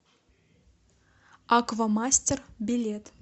аквамастер билет